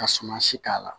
Ka suma si k'a la